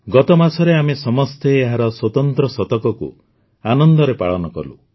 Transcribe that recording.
ଗତ ମାସରେ ଆମେ ସମସ୍ତେ ଏହାର ସ୍ୱତନ୍ତ୍ର ଶତକକୁ ଆନନ୍ଦରେ ପାଳନ କଲୁ